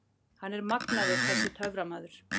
Hann er magnaður þessi töframaður.